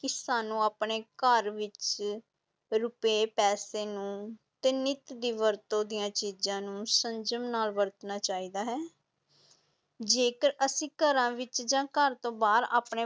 ਕਿ ਸਾਨੂੰ ਆਪਣੇ ਘਰ ਵਿੱਚ ਰੁਪਏ ਪੈਸੇ ਨੂੰ ਤੇ ਨਿੱਤ ਦੀ ਵਰਤੋਂ ਦੀਆਂ ਚੀਜ਼ਾਂ ਨੂੰ ਸੰਜਮ ਨਾਲ ਵਰਤਣਾ ਚਾਹੀਦਾ ਹੈ ਜੇਕਰ ਅਸੀਂ ਘਰਾਂ ਵਿੱਚ ਜਾਂ ਘਰ ਤੋਂ ਬਾਹਰ ਆਪਣੇ